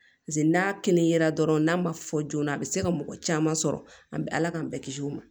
Paseke n'a kɛnɛya yera dɔrɔn n'a ma fɔ joona a bi se ka mɔgɔ caman sɔrɔ an be ala k'an bɛɛ kisi o ma